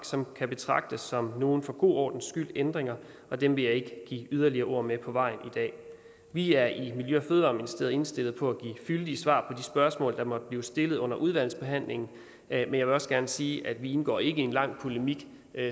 som kan betragtes som nogle for god ordens skyld ændringer og dem vil jeg ikke give yderligere ord med på vejen i dag vi er i miljø og fødevareministeriet indstillet på at give fyldige svar på spørgsmål der måtte blive stillet under udvalgsbehandlingen men jeg vil også gerne sige at vi ikke indgår i en lang polemik